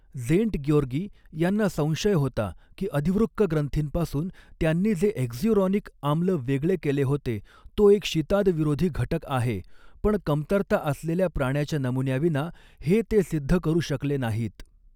Szent ग्याेरगी यांना संशय होता की, अधिवृक्क ग्रंथींपासून त्यांनी जे हेक्स्युराॅनिक आम्ल वेगळे केले होते, तो एक शीतादविरोधी घटक आहे, पण कमतरता असलेल्या प्राण्याच्या नमुन्याविना हे ते सिद्ध करू शकले नाहीत.